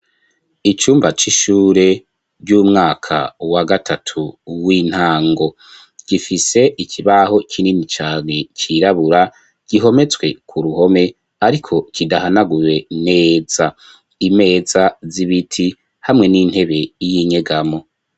Icumba c'ishure ry'umwaka wa gatatu w'intango gifise ikibaho kinini cane cirabura gihometswe ku ruhome ariko kidahanaguye neza imeza z'ibiti hamwe n'intebe y'inyegamo.